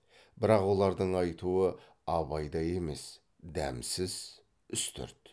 бірақ олардың айтуы абайдай емес дәмсіз үстірт